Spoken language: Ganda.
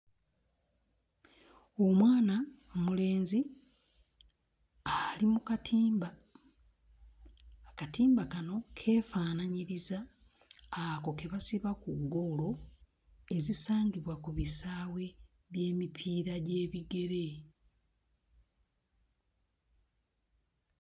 Omwana omulenzi ali mu katimba. Akatimba kano keefaanaanyiriza ako ke basiba ku ggoolo ezisangibwa ku bisaawe by'emipiira gy'ebigere.